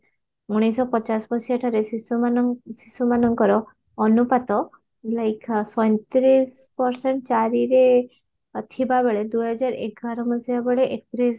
ଉଣେଇଶ ଶହ ପଚାଶ ମସିହା ଠାରେ ଶିଶୁମାନ ଶିଶୁମାନଙ୍କର ଅନୁପାତ like ସଇଁତିରିଶ percent ଚାରିରେ ଥିବା ବେଳେ ଦୁଇ ହଜାର ଏଗାର ମସିହା ବେଳେ ଏକତିରିଶ